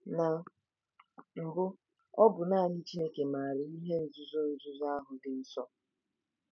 Na mbụ, ọ bụ naanị Chineke maara “ihe nzuzo nzuzo ahụ dị nsọ.”